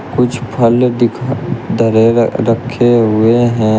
कुछ फल दिखा धरे हुए रखे हुए हैं।